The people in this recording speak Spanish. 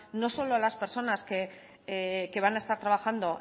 no solo a las personas que van a estar trabajando